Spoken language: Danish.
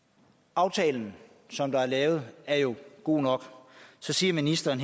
aftalen som er lavet er jo god nok så siger ministeren